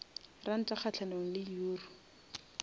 ranta kgahlanong le euro